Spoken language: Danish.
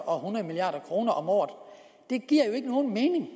og hundrede milliard kroner om året det giver jo ikke nogen mening og